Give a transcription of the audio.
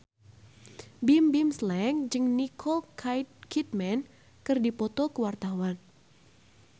Bimbim Slank jeung Nicole Kidman keur dipoto ku wartawan